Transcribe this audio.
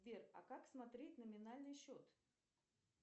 сбер а как смотреть номинальный счет